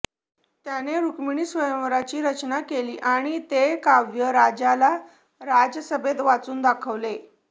त्याने रुक्मिणीस्वयंवराची रचना केली आणि ते काव्य राजाला राजसभेत वाचून दाखवले